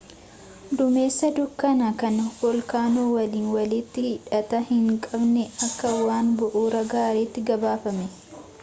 duumessa dukkana kan voolkaanoo waliin walitti hidhata hin qabne akka waan bu'uuraa gaaraatti gabaafame